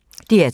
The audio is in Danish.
DR2